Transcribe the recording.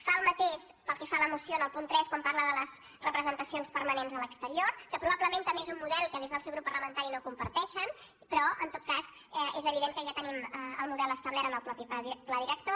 fa el mateix pel que fa a la moció en el punt tres quan parla de les representacions permanents a l’exterior que probablement també és un model que des del seu grup parlamentari no comparteixen però en tot cas és evident que ja tenim el model establert en el mateix pla director